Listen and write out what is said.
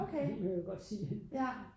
Det vil jeg godt sige